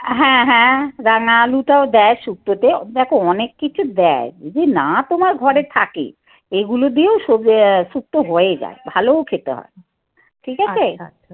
হ্যাঁ হ্যাঁ. রাঙা আলুটাও দেয় শুক্তো তে. দেখো অনেক কিছু দেয়, যদি না তোমার ঘরে থাকে, এগুলো দিয়েও শুক্তো হয়ে যায়। ভালোও খেতে হয়। ঠিক আছে।